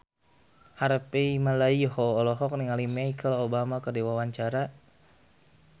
Harvey Malaiholo olohok ningali Michelle Obama keur diwawancara